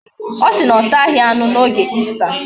Osi na onaghi ata anu na oge Easter